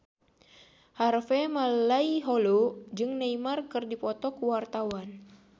Harvey Malaiholo jeung Neymar keur dipoto ku wartawan